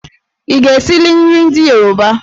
Ị ga-esili nri ndị Yoruba?